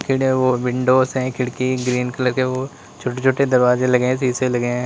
Windows है खिड़की green colour के वो छोटे छोटे दरवाजे लगे है शीशे लगे हैं।